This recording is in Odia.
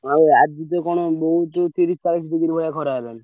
ନାଇଁ ଆଜି ତ କଣ ବହୁତ ତିରିଶି ଚାଳିଶି degree ଭଳିଆ ଖରା ହେଲାଣି।